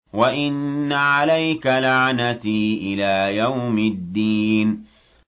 وَإِنَّ عَلَيْكَ لَعْنَتِي إِلَىٰ يَوْمِ الدِّينِ